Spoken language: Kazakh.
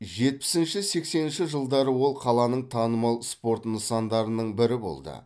жетпісінші сексенінші жылдары ол қаланың танымал спорт нысандарының бірі болды